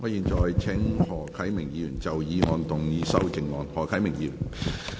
我現在請何啟明議員就議案動議修正案。